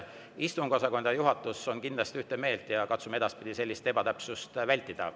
Istungiosakond ja juhatus on kindlasti ühte meelt ja katsume edaspidi sellist ebatäpsust vältida.